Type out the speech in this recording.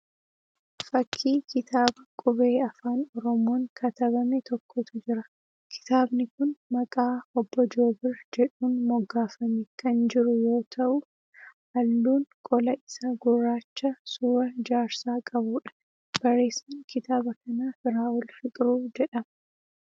Fakkii kitaaba qubee afaan Oromoon katabame tokkotu jira. Kitaabni kun maqaa 'Obbo Joobir' jedhuun moggaafame kan jiru yoo ta'u halluun qola isaa gurraacha suuraa jaarsaa qabuudha. Barreessaan kitaaba kanaa Firaa'ol Fiqiruu jedhama.